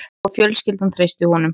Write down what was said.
Og fjölskyldan treysti honum